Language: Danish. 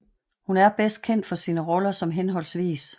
Hun bedst kendt for sine roller som hhv